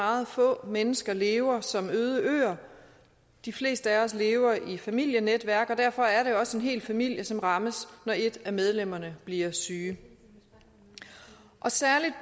at meget få mennesker lever som øde øer de fleste af os lever i familienetværk og derfor er det også en hel familie som rammes når et af medlemmerne bliver syge særligt